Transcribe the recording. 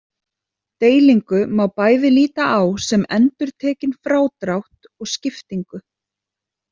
Deilingu má bæði líta á sem endurtekinn frádrátt og skiptingu.